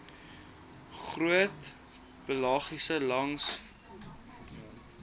groot pelagiese langlynvissery